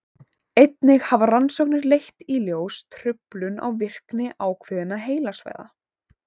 einnig hafa rannsóknir leitt í ljós truflun á virkni ákveðinna heilasvæða